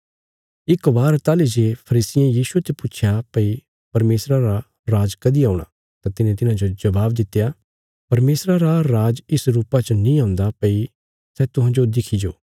इक बार ताहली जे फरीसियें यीशुये ते पुच्छया भई परमेशरा रा राज कदीं औणा तां तिने तिन्हांजो जबाब दित्या परमेशरा रा राज इस रुपा च नीं औन्दा भई सै तुहांजो दिखी जाओ